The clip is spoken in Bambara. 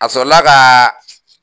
A sɔrɔla kaa